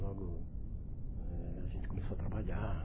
Logo eh a gente começou a trabalhar.